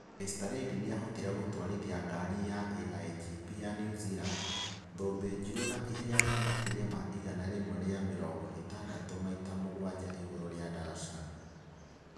Mr Reid nĩ aahotire gũtwarithia ngari ya AIGP ya New Zealand, thũmbĩ njirũ na ihenya rĩa makĩria ma igana rimwe rĩa mĩrongo ĩtandatũ maita mũgwanja igũrũ rĩa daraca